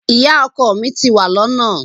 Ìyá ọkọ mi ti wà lọ́nà.